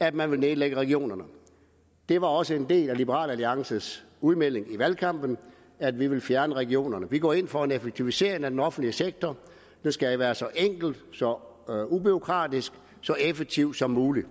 at man ville nedlægge regionerne det var også en del af liberal alliances udmelding i valgkampen at vi ville fjerne regionerne vi går ind for en effektivisering af den offentlige sektor den skal være så enkel så ubureaukratisk og så effektiv som muligt